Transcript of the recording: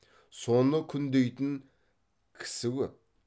соны күндейтін кісі көп